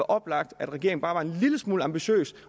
oplagt at regeringen bare var en lille smule ambitiøs